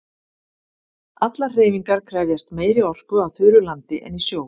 Allar hreyfingar krefjast meiri orku á þurru landi en í sjó.